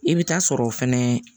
I bɛ taa sɔrɔ o fɛnɛ